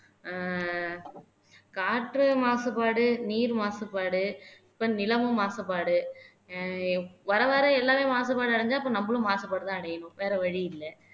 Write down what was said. ஆஹ் காற்று மாசுபாடு நீர் மாசுபாடு இப்ப நிலமும் மாசுபாடு வர வர எல்லாமே மாசுபாடு அடைஞ்சா அப்ப நம்மளும் மாசுபாடுதான் அடையணும் வேற வழி இல்ல